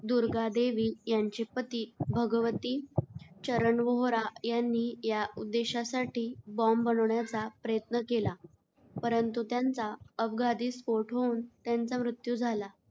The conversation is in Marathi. दुर्गा देवी यांचे पती भगवती चरण वोहरा यांनी या उद्देशासाठी बॉम्ब बनवण्याचा प्रयत्न केला, परंतु त्यांचा अपघाती स्फोट होऊन त्यांचा मृत्यू झाला.